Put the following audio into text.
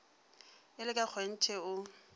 e le ka kgonthe o